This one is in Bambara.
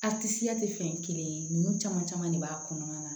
A tisiya tɛ fɛn kelen ninnu caman caman de b'a kɔnɔna na